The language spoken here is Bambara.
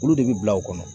Olu de bi bila o kɔnɔ